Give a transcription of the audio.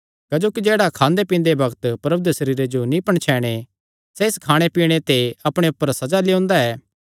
क्जोकि जेह्ड़ा खांदे पींदे बग्त प्रभु दे सरीरे जो नीं पणछैणे सैह़ इस खाणे पीणे ते अपणे ऊपर सज़ा लेयोंदा ऐ